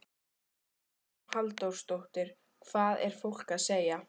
Hugrún Halldórsdóttir: Hvað er fólk að segja?